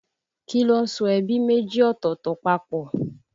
Kí ló ń so ẹbí méjì ọ̀tọ̀ọ̀tọ̀ papọ̀?